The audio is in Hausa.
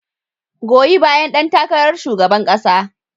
Goyi bayan ɗan takarar shugaban kasa.